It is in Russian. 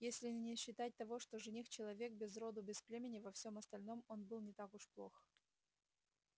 если не считать того что жених-человек без роду без племени во всем остальном он был не так уж плох